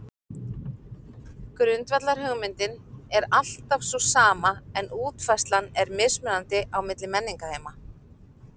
Grundvallarhugmyndin er þá alltaf sú sama en útfærslan er mismunandi á milli menningarheima.